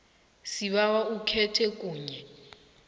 sibawa ukhethe kunye